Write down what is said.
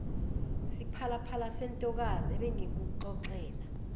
siphalaphala sentokazi ebengikuxoxela